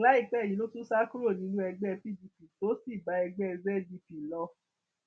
láìpẹ yìí ló tún sá kúrò nínú ẹgbẹ pdp tó sì bá ẹgbẹ zdp lọ